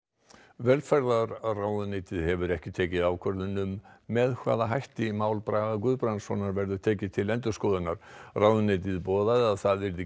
velferðarráðuneytið hefur ekki tekið ákvörðun um með hvaða hætti mál Braga Guðbrandssonar verður tekið til endurskoðunar ráðuneytið boðaði að það yrði